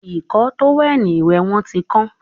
Ìkọ́ tówẹ̀lì ìwẹ̀ wọn tí kán